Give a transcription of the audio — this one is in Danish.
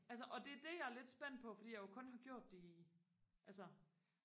altså og det er det jeg er lidt spændt på fordi jeg jo kun har gjort det i altså